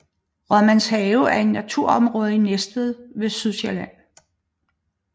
Rådmandshaven er et naturområde i Næstved på Sydsjælland